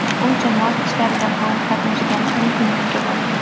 U jamoat ishlarida faol qatnashgan, mitinglarga borgan.